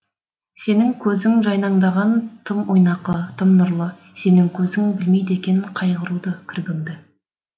сенің көзің жайнаңдаған тым ойнақы тым нұрлы сенің көзің білмейді екен қайғыруды кірбіңді